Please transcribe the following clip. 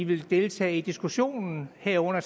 vil deltage i diskussionen herunder